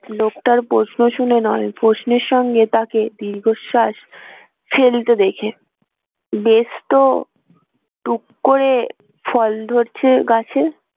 লোকটার প্রশ্ন শুনে নয় প্রশ্নের সঙ্গে তাকে দীর্ঘশ্বাস ফেলতে দেখে বেশ তো টুক করে ফল ধরছে গাছে